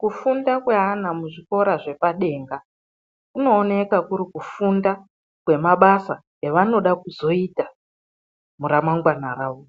Kufunda kwevana muzvikora zvepadenga kunoonekwa kuri kufundwa kwemabasa avanozoda kuzoita muramangwana ravo.